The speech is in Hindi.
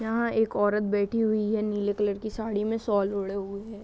यहाँ एक औरत बैठी हुई है नीले कलर की साड़ी में शॉल ओढ़े हुए।